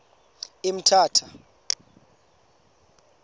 emthatha